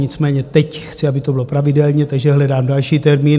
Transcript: Nicméně teď chci, aby to bylo pravidelně, takže hledám další termín.